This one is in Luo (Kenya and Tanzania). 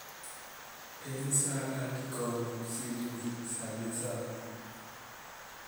En sa adi kono sydney sani sani